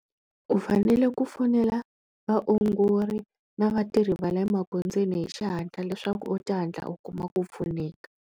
U fanele ku fonela vaongori na vatirhi va le emagondzweni hi xihatla leswaku u ta hatla u kuma ku pfuneka.